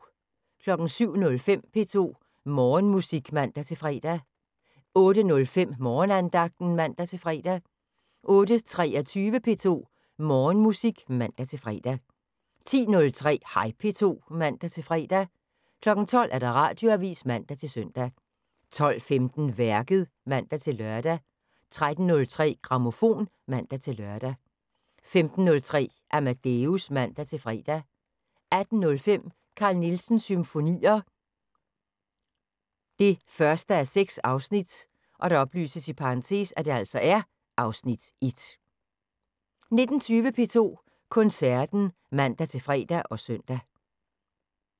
07:05: P2 Morgenmusik (man-fre) 08:05: Morgenandagten (man-fre) 08:23: P2 Morgenmusik (man-fre) 10:03: Hej P2 (man-fre) 12:00: Radioavisen (man-søn) 12:15: Værket (man-lør) 13:03: Grammofon (man-lør) 15:03: Amadeus (man-fre) 18:05: Carl Nielsens Symfonier 1:6 (Afs. 1) 19:20: P2 Koncerten (man-fre og søn)